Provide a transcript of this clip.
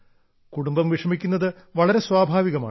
കുടുംബം വിഷമിക്കുന്നത് വളരെ സ്വാഭാവികമാണ്